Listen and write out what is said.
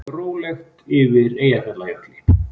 Rólegt yfir Eyjafjallajökli